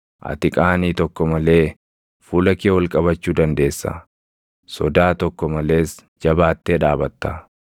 ati qaanii tokko malee fuula kee ol qabachuu dandeessa; sodaa tokko malees jabaattee dhaabatta.